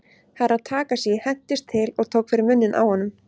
Herra Takashi hentist til og tók fyrir munninn á honum.